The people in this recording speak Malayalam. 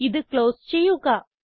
ഇത് ക്ലോസ് ചെയ്യുക